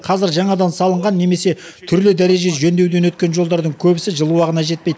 қазір жаңадан салынған немесе түрлі дәрежеде жөндеуден өткен жолдардың көбісі жыл уағына жетпей